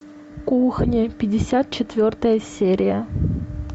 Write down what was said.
кухня пятьдесят четвертая серия